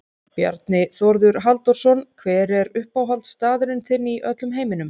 Bjarni Þórður Halldórsson Hver er uppáhaldsstaðurinn þinn í öllum heiminum?